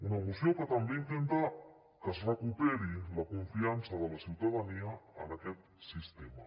una moció que també intenta que es recuperi la confiança de la ciutadania en aquest sistema